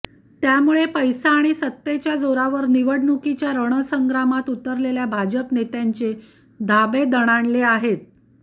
त्यामुळे पैसा आणि सत्तेच्या जोरावर निवडणुकीच्या रणसंग्रामात उतरलेल्या भाजप नेत्यांचे धाबे दणाणले आहेत